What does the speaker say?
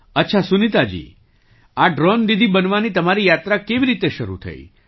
અચ્છા સુનીતાજી આ ડ્રૉન દીદી બનવાની તમારી યાત્રા કેવી રીતે શરૂ થઈ